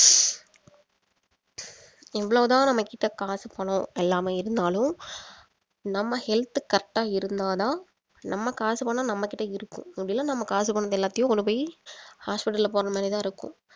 எவ்வளவுதான் நம்ம கிட்ட காசு பணம் எல்லாமே இருந்தாலும் நம்ம health correct ஆ இருந்தா தான் நம்ம காசு பணம் நம்ம கிட்ட இருக்கும் அப்படி இல்லன்னா நம்ம காசு பணம் எல்லாத்தையும் கொண்டு போய் hospital அ போடுற மாதிரி தான் இருக்கும்